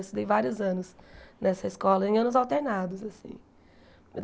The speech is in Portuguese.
Eu estudei vários anos nessa escola, em anos alternados, assim.